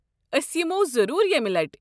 ٲسۍ یِمَو ضروٗر یمہِ لٕٹہِ ۔